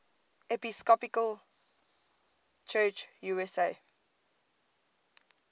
episcopal church usa